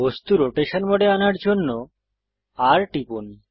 বস্তু রোটেশন মোডে আনার জন্য R টিপুন